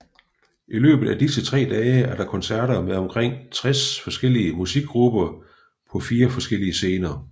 I løbet af disse tre dage er der koncerter med omkring 60 forskellige musikgrupper på 4 forskellige scener